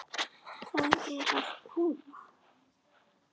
Það er að koma!